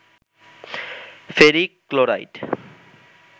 ferric chloride